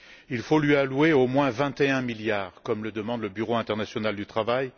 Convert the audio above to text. Il faut lui allouer au moins 21 milliards, comme le demande le Bureau international du travail.